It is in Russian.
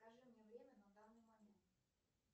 скажи мне время на данный момент